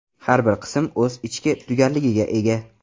Har bir qism o‘z ichki tugalligiga ega.